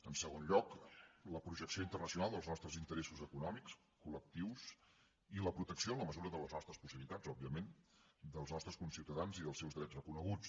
en segon lloc la projecció internacional dels nostres interessos econòmics col·lectius i la protecció en la mesura de les nostres possibilitats òbviament dels nostres conciutadans i dels seus drets reconeguts